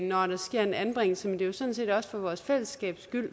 når der sker en anbringelse men det er jo sådan set også for vores fællesskabs skyld